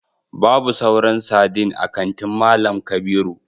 babu sauran sardine a kantin mallam kabiru